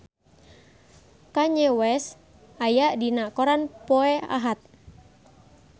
Kanye West aya dina koran poe Ahad